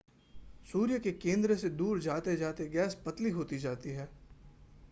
सूर्य के केंद्र से दूर जाते-जाते गैस पतली होती जाती है